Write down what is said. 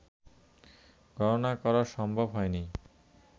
গণনা করা সম্ভব হয়নি